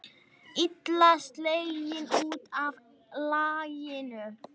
Illa sleginn út af laginu.